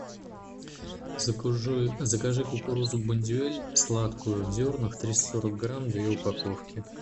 закажи кукурузу бондюэль сладкую в зернах триста сорок грамм две упаковки